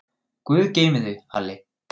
Guð geymi þig, Halli.